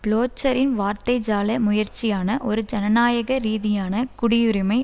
பிளோச்சரின் வார்த்தைஜால முயற்சியான ஒரு ஜனநாயக ரீதியான குடியுரிமை